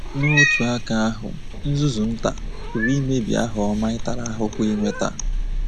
N’otu aka ahụ, “nzuzu nta” pụrụ imebi aha ọma ị tara ahụhụ inweta.